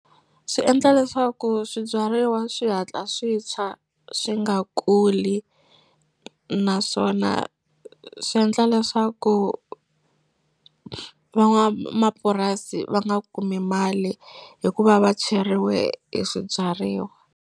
Swi endla leswaku swibyariwa swi hatla swi tshwa swi nga kuli naswona swi endla leswaku van'wamapurasi va nga kumi mali hikuva va tshweriwe hi swibyariwa.